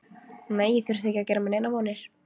Nei, ég þurfti ekki að gera mér neinar vonir.